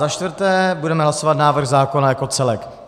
Za čtvrté , budeme hlasovat návrh zákona jako celek.